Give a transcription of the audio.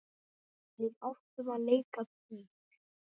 Við áttum að leika dýr.